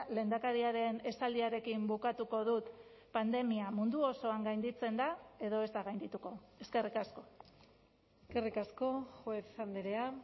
lehendakariaren esaldiarekin bukatuko dut pandemia mundu osoan gainditzen da edo ez da gaindituko eskerrik asko eskerrik asko juez andrea